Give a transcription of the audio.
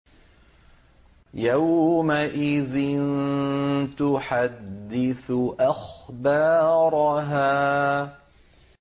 يَوْمَئِذٍ تُحَدِّثُ أَخْبَارَهَا